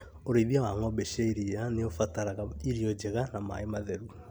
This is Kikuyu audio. ũrĩithia wa ng'ombe cia iria nĩũbataraga irio njega na maĩ matheru